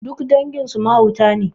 Duk dangin su mahauta ne